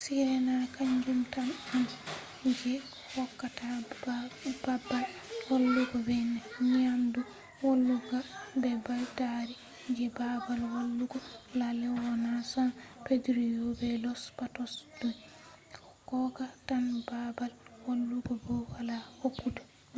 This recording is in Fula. sirena kanjum tan on ranger station je hokkata babal walugo be nyamdu wulinga be beddari je babal walugo. la leona san pedrillo be los patos do hokka tan babal walugo bow ala hokkugo nyamdu